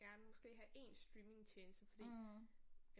Gerne måske have én streamingtjeneste fordi